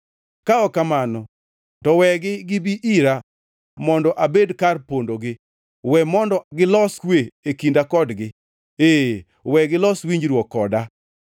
Ka ok kamano to wegi gibi ira mondo abed kar pondogi; we mondo gilos kwe e kinda kodgi, ee, we gilos winjruok koda.”